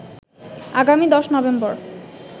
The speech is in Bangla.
আগামী ১০ নভেম্বর